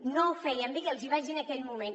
no ho feien bé i els ho vaig dir en aquell moment